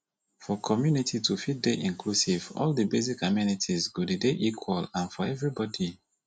for community to fit dey inclusive all di basic amenities go dey dey equal and for everybody